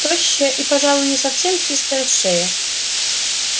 тощая и пожалуй не совсем чистая шея